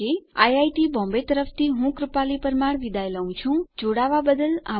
iit Bombay તરફથી spoken tutorial project માટે ભાષાંતર કરનાર હું ભરત સોલંકી વિદાય લઉં છું